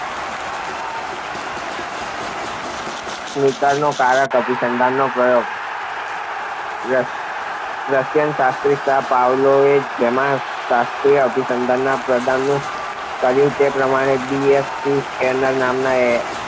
સ્કિનરનો કારક અભિસંધાનનો પ્રયોગ રસ રશિયન શરીરશાસ્ત્રી પાવલોવે જેમ શાસ્ત્રીય અભિસંધાનમાં પ્રદાન કર્યું તે જ પ્રમાણે બી એફ સ્કિનર નામનાયે